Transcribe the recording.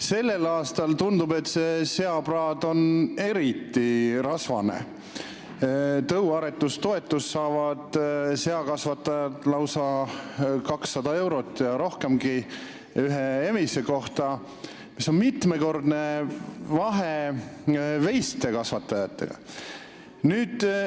Sellel aastal tundub, et see seapraad on eriti rasvane, sest tõuaretustoetust saavad seakasvatajad lausa 200 eurot ja rohkemgi ühe emise kohta, vahe veisekasvatajatega on mitmekordne.